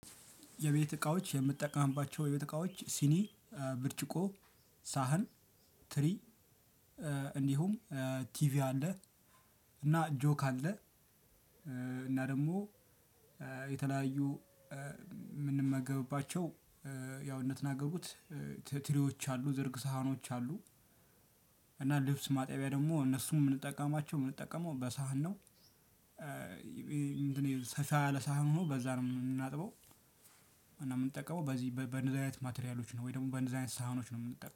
የቤት እቃዎች የምጠቀማቸው የቤት እቃዎች ሲኒ ብርጭቆ ሳህን ትሪ። እንዲሁም ቲቪ አለ እና ጆክ አለ። እና ደግሞ የተለያዩ የምንመገብባቸው። ያው እንደተናገርኩት ያው ትሪዎች አሉ ዝርግ ሳህኖች አሉ። እና ልብስ ማጣቢያ ደግሞ እነሱን የምንጠቀማቸው የምንጠቀመው በሳህን? ምንድን ነው ሰፋ ያለ ሳህን ሆኖ በዛ ነው የምናጥበው። እና የምንጠቀመው በዚህ በነዛ አይነት ማቴሪያሎች ነው። ወይ ደግሞ በነዛ አይነት ሳህኖች ነው የምንጠቀመው